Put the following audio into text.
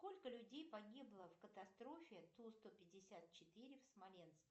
сколько людей погибло в катастрофе ту сто пятьдесят четыре в смоленске